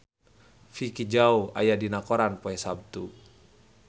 Vicki Zao aya dina koran poe Saptu